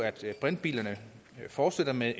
at brintbilerne fortsætter med at